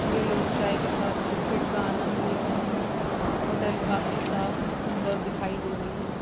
वे लोग चाय के साथ के बिस्कुट का आनंद ले रहे हैं। होटल काफी साफ़ सुन्दर दिखाई दे रही है।